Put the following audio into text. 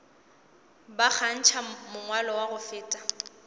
ba kgantšha mangwalo go feta